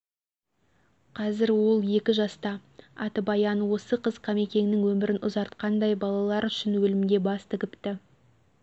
қазір ол екі жаста аты баян осы қыз кемекеңнің өмірін ұзартқандай балалар үшін өлімге бас тігіпті